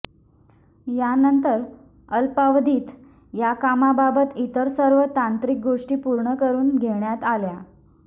यानंतर अल्पावधीत या कामाबाबत इतर सर्व तांत्रिक गोष्टी पूर्ण करून घेण्यात आल्या